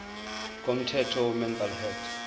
komthetho wemental health